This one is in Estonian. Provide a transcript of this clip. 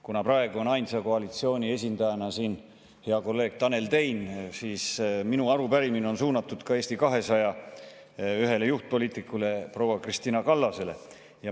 Kuna praegu on koalitsiooni ainsa esindajana siin hea kolleeg Tanel Tein, siis on minu arupärimine suunatud Eesti 200 ühele juhtpoliitikule proua Kristina Kallasele.